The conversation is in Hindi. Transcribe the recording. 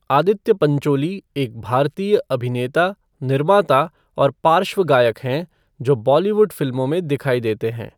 आदित्य पंचोली एक भारतीय अभिनेता, निर्माता और पार्श्व गायक हैं जो बॉलीवुड फिल्मों में दिखाई देते हैं।